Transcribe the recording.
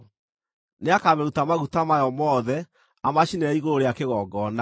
Nĩakamĩruta maguta mayo mothe amacinĩre igũrũ rĩa kĩgongona,